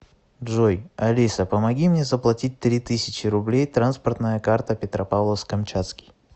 джой алиса помоги мне заплатить три тысячи рублей транспортная карта петропавловск камчатский